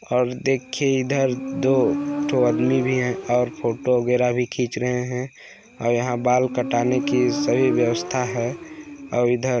और देख के इधर दो -दोठो आदमी भी हैं और फोटो वगैरा भी खींच रहे हैं और यहाँ बाल कटाने की सही व्यवस्था हैं और इधर--